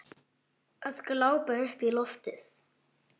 Að glápa upp í loftið.